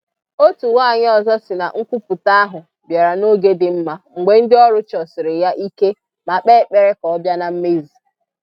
Otu nwaanyị ọzọ sị na nkwupụta ahụ bịara n'oge dị mma mgbe ndị ọrụ chọsiri ya ike ma kpee ekpere ka ọ bịa na mmezu.